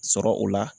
Sɔrɔ o la